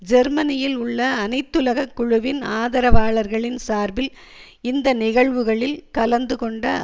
ஜெர்மனியில் உள்ள அனைத்துலக குழுவின் ஆதரவாளர்களின் சார்பில் இந்த நிகழ்வுகளில் கலந்துகொண்ட